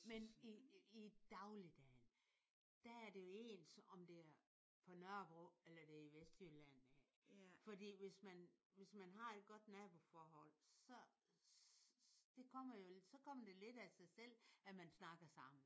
Men i i i dagligdagen der er det jo ens om det er på Nørrebro eller det er i Vestjylland af. Fordi hvis man hvis man har et godt naboforhold så det kommer jo så kommer det lidt af sig selv at man snakker sammen